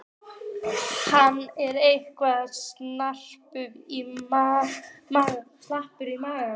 Hann er eitthvað slappur í maganum.